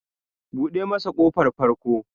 Buɗe masa ƙofar farko!